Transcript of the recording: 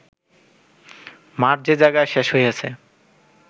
মাঠ যে জায়গায় শেষ হইয়াছে